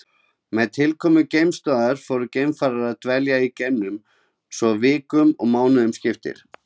Með tilkomu geimstöðva fóru geimfarar að dvelja í geimnum svo vikum og mánuðum skipti.